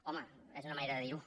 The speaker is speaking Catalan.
home és una manera de dirho